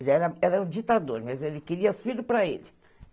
Ele era era um ditador, mas ele queria os filhos para ele.